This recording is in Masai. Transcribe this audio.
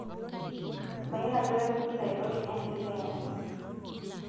mayiolo ajo kaji ingira aiko tenias esiai oninye